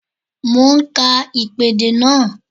Mo ń ka ìpèdè náà